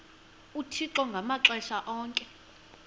uthixo ngamaxesha onke